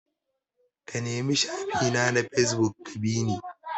Ka nemi shafi na a fesbuk ka bi ni!